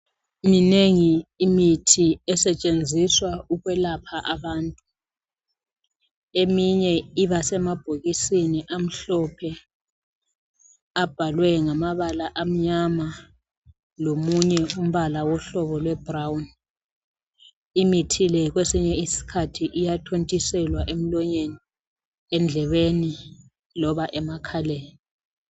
Minengi imithi esetshenziswa ukwelapha abantu. Eminye ibasemabhokisini amhlophe abhalwe ngamabala amnyama lomunye umbala wohlobo lwe brown. Imithi le kwesinye isikhathi iyathontiselwa emlonyeni, endlebeni loba emakhaleni.